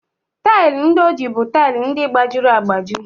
Taịlị ndị o ji bụ tile gbajiri agbaji.